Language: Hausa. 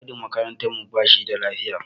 Mai gadin makarantar mu ba shida lafiya.